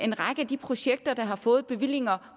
en række af de projekter der har fået bevillinger